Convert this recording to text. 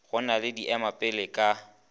go na le diemapele ka